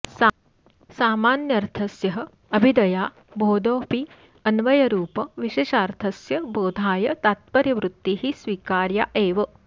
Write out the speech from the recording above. सामान्यर्थस्यः अभिधया बोधोऽपि अन्वयरूप विशेषार्थस्य बोधाय तात्पर्यवृत्तिः स्वीकार्या एव